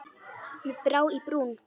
Mér brá í brún.